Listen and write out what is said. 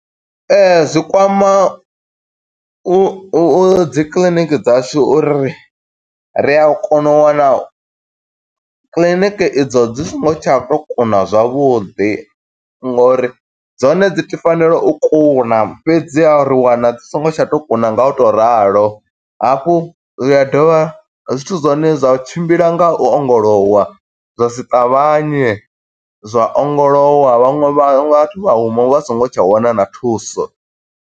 Ee, zwi kwama u u dzi kiḽiniki dzashu uri ri a kona u wana kiḽiniki i dzo dzi songo tsha to kuna zwavhuḓi ngo uri dzone dzi to fanela u kuna, fhedziha ri wana dzi songo tsha tou kuna nga u to ralo, hafhu zwi a dovha zwithu zwa hone zwa tshimbila nga u ongolowa, zwa si ṱavhanye, zwa ongolowa vhaṅwe vha vhathu vha huma vha songo tsha wana na thuso.